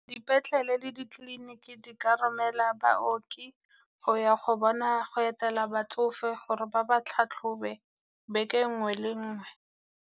Dipetlele le ditleliniki di ka romela baoki go ya go etela batsofe gore ba ba tlhatlhobe beke nngwe le nngwe.